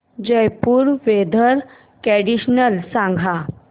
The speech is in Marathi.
जयपुर वेदर कंडिशन सांगा